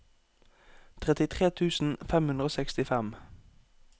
trettitre tusen fem hundre og sekstifem